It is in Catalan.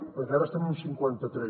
perquè ara estem en cinquanta tres